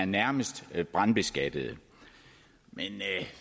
nærmest er brandbeskattede men